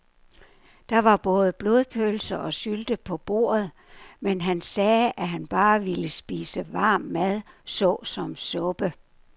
Der var både blodpølse og sylte på bordet, men han sagde, at han bare ville spise varm mad såsom suppe.